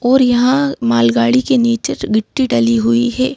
और यहां मालगाड़ी के नीचे गिट्ठी डली हुई है।